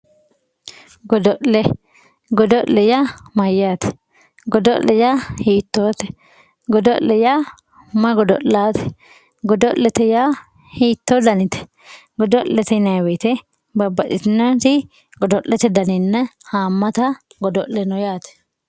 Godolle gode ya mayate godole ya hitote godole ya mayi godolate godolete ya hito danite godolete yinayi woyite babaxitinoti godolete daninna hamata godole no yate